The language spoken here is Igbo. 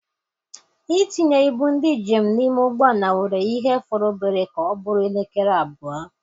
Itinye ibu ndị njem n'ime ụgbọala were ya ihe fọrọ obere ka ọ bụrụ elekere abụọ.